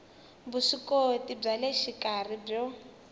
vuswikoti bya le xikarhi byo